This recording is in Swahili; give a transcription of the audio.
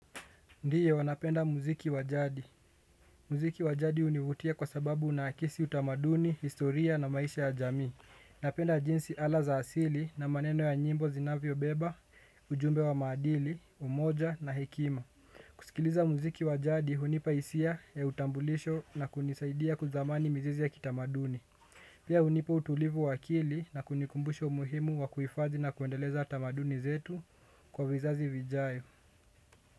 Ndiyo napenda muziki wa jadi. Mziki wa jadi hunivutia kwa sababu unaakisi utamaduni, historia na maisha ya jamii. Napenda jinsi ala za asili na maneno ya nyimbo zinavyobeba, ujumbe wa maadili, umoja na hekima. Kusikiliza muziki wa jadi, hunipa hisia ya utambulisho na kunisaidia kuthamani mizizi ya kitamaduni. Pia hunipa utulivu wa akili na kunikumbusha umuhimu wa kuhifadhi na kuendeleza tamaduni zetu kwa vizazi vijayo.